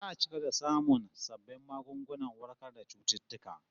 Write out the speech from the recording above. Za'a ci gaba da samun sabbin magungunan warkar da cututtuka